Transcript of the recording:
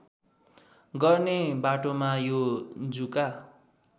गर्ने बाटोमा यो जुका